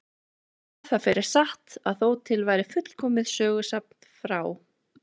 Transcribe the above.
Ég hef það fyrir satt að þó til væri fullkomið sögusafn frá